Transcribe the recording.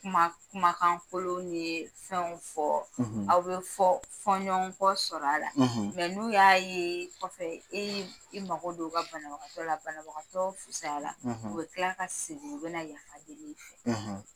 Kuma kumakan kolon ni fɛnw fɔ. Aw bɛ fɔ fɔnɲɔgɔn kɔ sɔrɔ a la. Mɛ n'u y'a ye kɔfɛ e y'i i mako don o ka banabagatɔ la, banabagatɔ fisaya la. U bɛ kila ka segin.U bɛna yafa deli i fɛ.